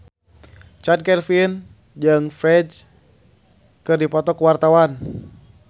Chand Kelvin jeung Ferdge keur dipoto ku wartawan